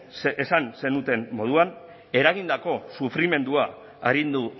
esan zenuten moduan eragindako sufrimendua arindu